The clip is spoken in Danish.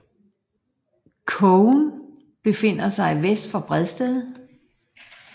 Kogen befinder sig vest for Bredsted